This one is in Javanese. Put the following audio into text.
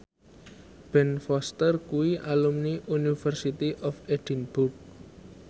Ben Foster kuwi alumni University of Edinburgh